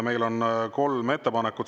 Meil on kolm ettepanekut.